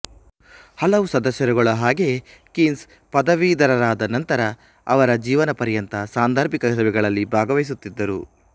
ಹಲವು ಸದಸ್ಯರುಗಳ ಹಾಗೆಯೇ ಕೀನ್ಸ್ ಪದವೀಧರರಾದ ನಂತರ ಅವರ ಜೀವನಪರ್ಯಂತ ಸಾಂದರ್ಭಿಕ ಸಭೆಗಳಲ್ಲಿ ಭಾಗವಹಿಸುತ್ತಿದ್ದರು